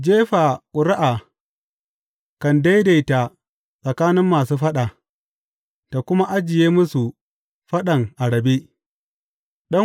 Jefa ƙuri’a kan daidaita tsakanin masu faɗa ta kuma ajiye masu faɗan a rabe.